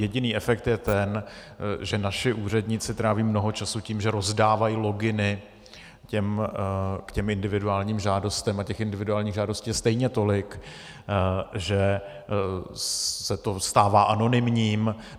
Jediný efekt je ten, že naši úředníci tráví mnoho času tím, že rozdávají loginy k těm individuálním žádostem, a těch individuálních žádostí je stejně tolik, že se to stává anonymním.